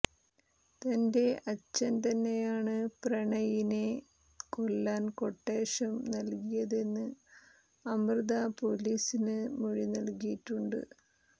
തന്റെ അച്ഛൻ തന്നെയാണ് പ്രണയിനെ കൊല്ലാൻ ക്വട്ടേഷൻ നൽകിയതെന്ന് അമൃത പൊലീസിന് മൊഴി നൽകിയിട്ടുണ്ട്